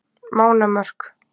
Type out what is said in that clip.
Mánamörk